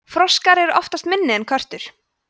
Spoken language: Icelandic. froskar eru oftast minni en körtur